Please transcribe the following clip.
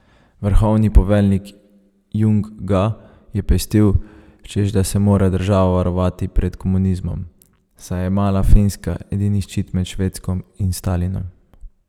Vrhovni poveljnik Jung ga je pestil, češ da se mora država varovati pred komunizmom, saj je mala Finska edini ščit med Švedsko in Stalinom.